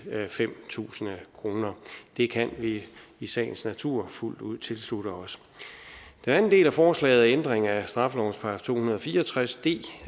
fem tusind kroner det kan vi i sagens natur fuldt ud tilslutte os den anden del af forslaget er ændring af straffelovens § to hundrede og fire og tres d